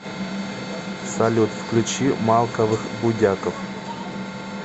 салют включи малковых будяков